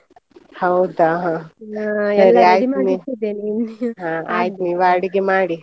ಹೌದಾ! ಹಾ ಅಡಿಗೆ ಮಾಡಿ.